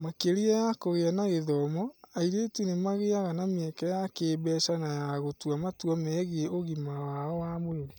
Makĩria ma kũgĩa na gĩthomo, airĩtu nĩ magĩaga na mĩeke ya kĩĩmbeca na ya gũtua matua megiĩ ũgima wao wa mwĩrĩ. (